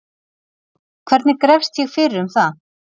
hvernig grefst ég fyrir um það